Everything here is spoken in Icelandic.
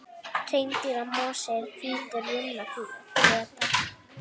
Hreindýramosi er hvít runnaflétta.